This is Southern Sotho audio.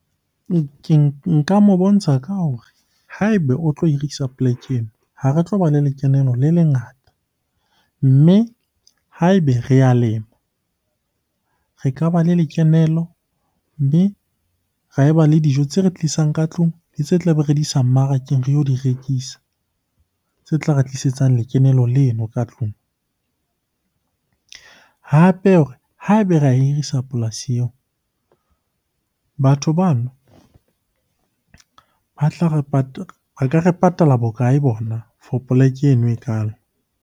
Nka mo bontsha ka hore ha ebe o tlo hirisa poleke ha re tloba le lekenelo le lengata. Mme ha ebe re a lema, re ka ba le lekenelo mme ra eba le dijo tse re tlisang ka tlung le tse tlabe re di isa mmarakeng re yo di rekisa. Tse tla re tlisetsang lekenelo leno ka tlung, hape ha ebe ra e hirisa polasi eo, batho bano ba ka re patala bokae bona for poleke eno ekalo?